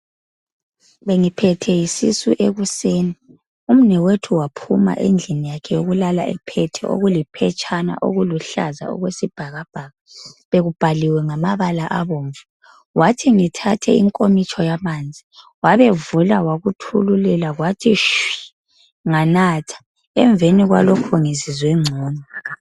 Bengiphethwe yisisu ekuseni, umnewethu waphuma endlini yakhe eyokulala ephethe okuliphetshana okuluhlaza okwesibhakabhaka bekubhaliwe ngamabala abomvu, wathi ngithathe inkomitsho yamanzi wabevula wakuthululela kwathi shwi nganatha, emveni kwalokho ngizizwe ngcono.